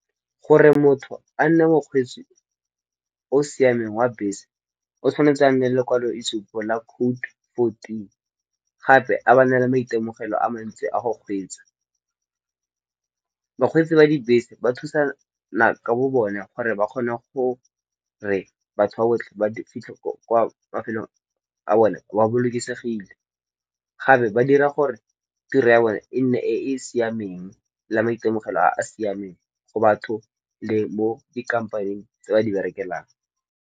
Gore motho a nne mokgweetsi o siameng wa bese o tshwanetse a nne le lekwaloitshupo la Code fourteen, gape a ba a nale maitemogelo a mantsi a go kgweetsa. Bakgweetsi ba dibese ba thusana ka bo bone gore ba kgone go re batho ba botlhe ba fitlhe kwa mafelong a bone ba bolokesegile. Gape ba dira gore tiro ya bone e nne e e siameng la maitemogelo a a siameng go batho le mo dikampaneng tse ba di berekelang.